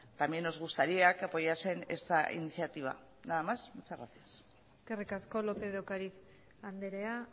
también nos gustaría que apoyasen esta iniciativa nada más muchas gracias eskerrik asko lópez de ocariz andrea